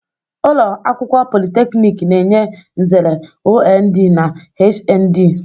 Ụlọ akwụkwọ politeknik na-enye nzere OND na HND.